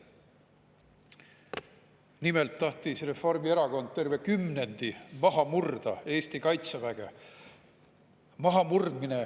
Nimelt tahtis Reformierakond terve kümnendi maha murda Eesti kaitseväge.